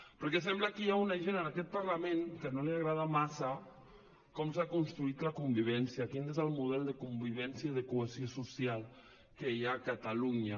perquè sembla que hi ha una gent en aquest parlament a la que no li agrada massa com s’ha construït la convivència quin és el model de convivència i de cohesió social que hi ha a catalunya